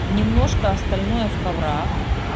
немножко остальное в коврах